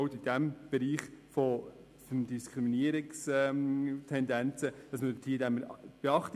man schenkt auch in diesem Bereich den Diskriminierungstendenzen Beachtung.